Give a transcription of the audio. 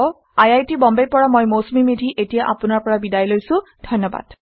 আই আই T Bombay ৰ পৰা মই মৌচুমী মেধী এতিয়া আপুনাৰ পৰা বিদায় লৈছো যোগদানৰ বাবে ধন্যবাদ